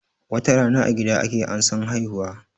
Watarana a gida ake ansan haihuwa